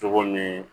Cogo ni